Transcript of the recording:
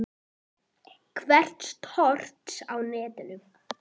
Verk Thors á netinu